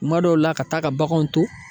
Kuma dɔw la ka taa ka baganw to